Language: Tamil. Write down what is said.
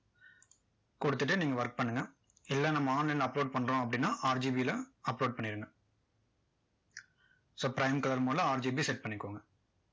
கொடுத்துட்டு நீங்க work பண்ணுங்க இல்ல நம்ம online ல upload பண்றோம் அப்படின்னா RGB ல upload பண்ணிருங்க so prime colour mode ல RGB set பண்ணிக்கோங்க.